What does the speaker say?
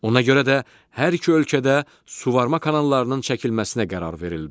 Ona görə də hər iki ölkədə suvarma kanallarının çəkilməsinə qərar verildi.